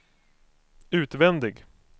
utvändig